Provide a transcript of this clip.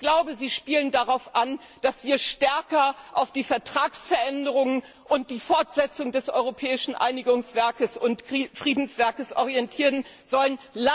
Ich glaube, sie spielen darauf an, dass wir stärker auf die Vertragsveränderungen und die Fortsetzung des europäischen Einigungs und Friedenswerkes hinarbeiten sollen.